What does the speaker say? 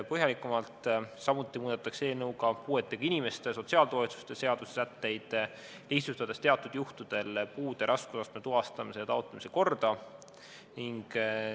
Samuti muudetakse eelnõuga puuetega inimeste sotsiaaltoetuste seaduse sätteid, lihtsustades teatud juhtudel puude raskusastme tuvastamise ja taotlemise korda.